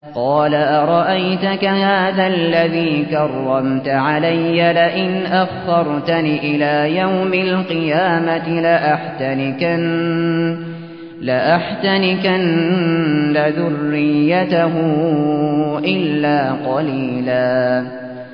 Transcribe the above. قَالَ أَرَأَيْتَكَ هَٰذَا الَّذِي كَرَّمْتَ عَلَيَّ لَئِنْ أَخَّرْتَنِ إِلَىٰ يَوْمِ الْقِيَامَةِ لَأَحْتَنِكَنَّ ذُرِّيَّتَهُ إِلَّا قَلِيلًا